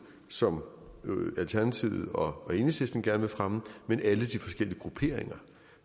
som alternativet og enhedslisten gerne vil fremme men alle de forskellige grupperinger